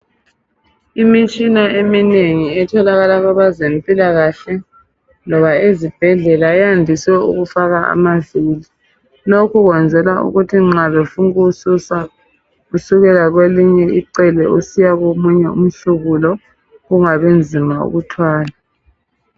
Imitshina eminengi etholakala kwabezempilakahle loba ezibhedlela yandise ukufaka amaviri, lokhu kwenzelwa ukuthi nxa befuna ukuwususa kusukela kwelinye icele usiya komunye umhlubulo kungabinzima ukuthwala.